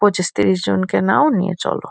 পঁচিশ-তিরিশ জনকে নাও নিয়ে চলো।